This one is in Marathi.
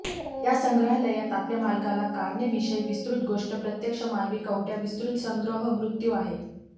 या संग्रहालयात आपल्या मालकाला कारणे विषयी विस्तृत गोष्ट प्रत्यक्ष मानवी कवट्या विस्तृत संग्रह मृत्यू आहे